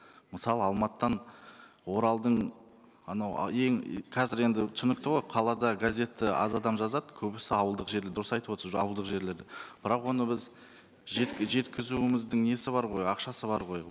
мысалы алматыдан оралдың анау ең қазір енді түсінікті ғой қалада газетті аз адам жазады көбісі ауылдық жер дұрыс айтып отырсыз уже ауылдық жерлерде бірақ оны біз жеткізуіміздің несі бар ғой ақшасы бар ғой